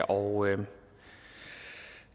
og